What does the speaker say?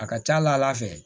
A ka ca ala fɛ